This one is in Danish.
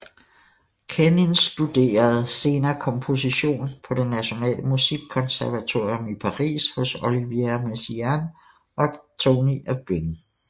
Kenins studerede senere komposition på det Nationale Musikkonservatorium i Paris hos Olivier Messiaen og Tony Aubin